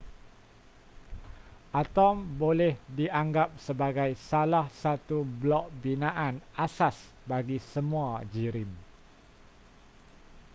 atom boleh dianggap sebagai salah satu blok binaan asas bagi semua jirim